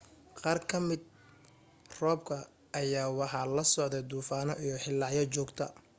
qaar ka mida roobka ayaa waxa la socday duufano iyo hilaacyo joogta